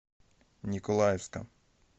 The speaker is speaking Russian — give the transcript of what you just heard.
николаевска